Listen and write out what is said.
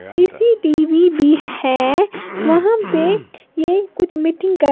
CCTV भी है वहां पे ये कुछ मीटिंग कर--